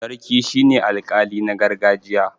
sarki shi ne alƙali na gargajiya